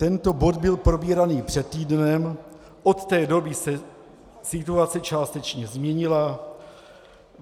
Tento bod byl probíraný před týdnem, od té doby se situace částečně změnila.